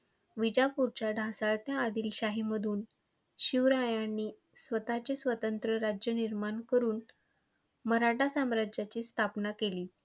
विजापूरच्या ढासळत्या आदिलशाहीमधून शिवरायांनी स्वतःचे स्वतंत्र राज्य निर्माण करुन मराठा साम्राज्याची स्थापना केली.